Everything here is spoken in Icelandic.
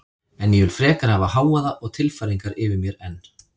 En ég vil frekar hafa hávaða og tilfæringar yfir mér en